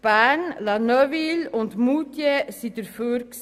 Bern, La Neuveville und Moutier hatten es befürwortet.